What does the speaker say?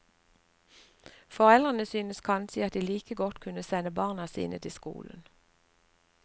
Foreldrene syntes kanskje at de like godt kunne sende barna sine til skolen.